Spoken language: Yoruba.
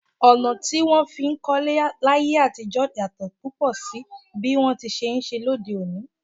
Ọ̀nà tí wón fi ń kólé láyé àtijó yàtò púpọ̀ sí bí wọn ti ṣe ń ṣe lóde òní.